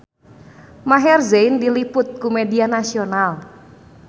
Maher Zein diliput ku media nasional